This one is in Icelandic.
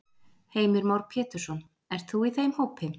Heimir Már Pétursson: Ert þú í þeim hópi?